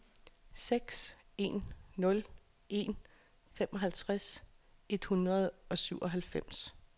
seks en nul en femoghalvtreds et hundrede og syvoghalvfems